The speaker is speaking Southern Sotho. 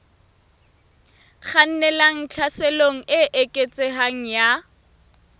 kgannelang tlhaselong e eketsehang ya